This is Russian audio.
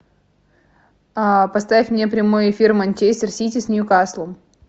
поставь мне прямой эфир манчестер сити с ньюкаслом